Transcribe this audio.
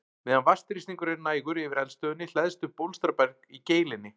Meðan vatnsþrýstingur er nægur yfir eldstöðinni hleðst upp bólstraberg í geilinni.